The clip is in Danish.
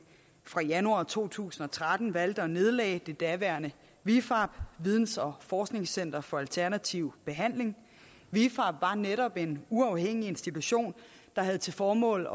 fra januar to tusind og tretten valgte at nedlægge det daværende vifab videns og forskningscenter for alternativ behandling vifab var netop en uafhængig institution der havde til formål